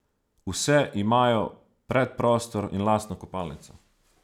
Vse imajo predprostor in lastno kopalnico.